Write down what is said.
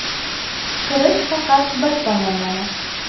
Kirish faqat bir tomonlama.